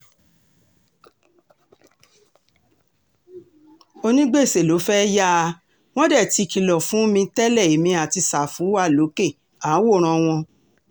um onígbèsè ló fẹ́ẹ́ yà um wọ́n dé tí kìlọ̀ fún mi tẹ́lẹ̀ èmi àti sáfù wà lókè à ń wòran wọn